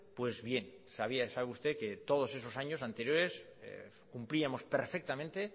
pues bien sabía sabe usted que todos esos años anteriores cumplíamos perfectamente